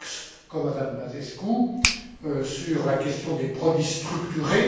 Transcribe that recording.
Fox comme à Mme Băsescu, sur la question des produits structurés.